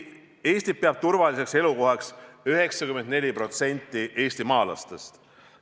Eestit peab turvaliseks elukohaks 94% eestimaalastest.